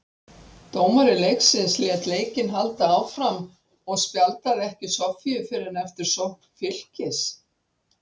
Dómari leiksins lét leikinn halda áfram og spjaldaði ekki Soffíu fyrr en eftir sókn Fylkis.